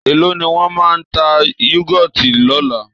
Èló ni wọ́n máa ta Yúgọ́ọ̀tì lọ́la?